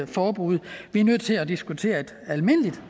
forbud vi er nødt til at diskutere et almindeligt